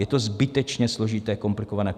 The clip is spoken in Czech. Je to zbytečně složité, komplikované.